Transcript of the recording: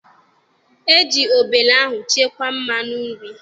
E ji obele ahụ chekwaa mmanụ nri.